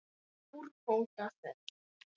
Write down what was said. Hér er úrbóta þörf.